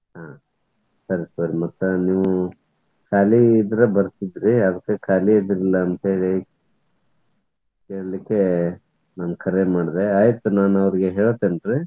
ಹ್ಮ್ ಸರಿ ಸರಿ ಮತ್ತ್ ನೀವು ಖಾಲಿ ಇದ್ರ್ ಬರ್ತಿದ್ರಿ ಅದ್ಕ ಖಾಲಿ ಅದಿರಿಲ್ಲಾ ಅಂತೇಳಿ ಕೇಳಲಿಕ್ಕೆ ನಾನ್ ಕರೆ ಮಾಡಿದೆ. ಆಯಿತ್ ನಾನು ಅವ್ರಿಗೆ ಹೇಳ್ತೇನ್ರಿ.